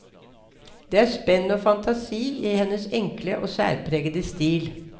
Der er spenn og fantasi i hennes enkle og særpregede stil.